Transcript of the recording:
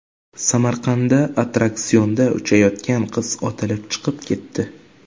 Samarqandda attraksionda uchayotgan qiz otilib chiqib ketdi .